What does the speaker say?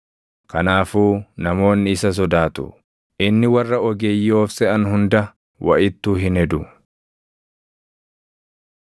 Kanaafuu, namoonni isa sodaatu; inni warra ogeeyyii of seʼan hunda waʼittuu hin hedu.”